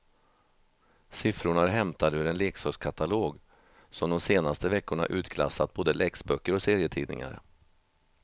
Siffrorna är hämtade ur en leksakskatalog som de senaste veckorna utklassat både läxböcker och serietidningar.